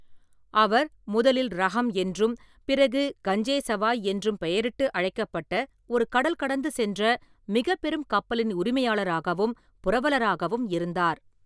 அவர், முதலில் ரஹம் என்றும் பிறகு கஞ்சே சவாய் என்றும் பெயரிட்டு அழைக்கப்பட்ட ஒரு கடல்கடந்து சென்ற மிகப்பெரும் கப்பலின் உரிமையாளராகவும் புரவலராகவும் இருந்தார்.